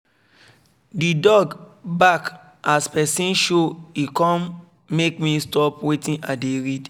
the dog bark as person show e come make me stop wetin i dey read